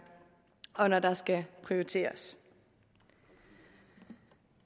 og når der skal prioriteres det